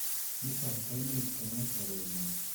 niton koimuch kongem sobet nywan